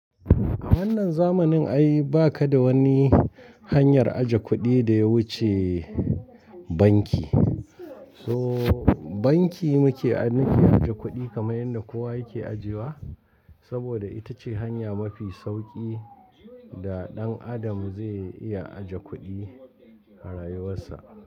A wannan zamanin ai ba ka da wani hanyar aje kuɗi da ya wuce banki. So banki muke, muke aje kuɗi kamar yadda kowa yake ajiye wa saboda ita ce hanya mafi sauƙi da ɗan adam zai iya aje kuɗi a rayuwarsa.